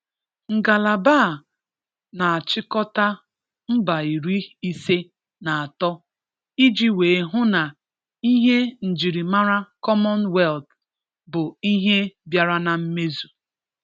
"Ngálàbà a na-achịkọ̀tà mba iri ise na atọ iji wee hụ na ihe njirimàrà Commonwealth bụ ihe bịara na mmezu."